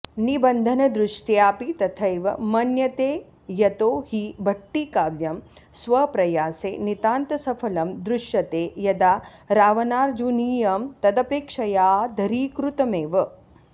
निबन्धनदृष्ट्याऽपि तथैव मन्यते यतो हि भट्टिकाव्यं स्वप्रयासे नितान्तसफलं दृश्यते यदा रावणार्जुनीयं तदपेक्षयाऽधरीकृतमेव